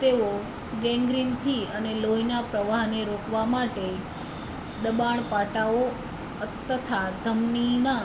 તેઓ ગૅંગ્રીનથી અને લોહીના પ્રવાહને રોકવા માટે દબાણ પાટાઓ તથા ધમનીના